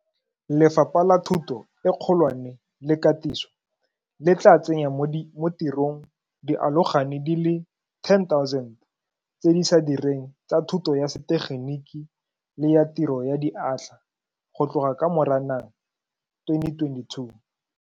Lefapha la Thuto e Kgolwane le Katiso le tla tsenya mo tirong dialogane di le 10 000 tse di sa direng tsa thuto ya setegeniki le ya tiro ya diatla go tloga ka Moranang 2022.